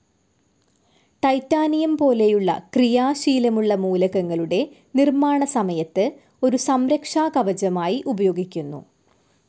Titanium പോലെയുള്ള ക്രിയാശീലമുള്ള മൂലകങ്ങളുടെ നിർമ്മാണസമയത്ത് ഒരു സംരക്ഷാകവചമായി ഉപയോഗിക്കുന്നു.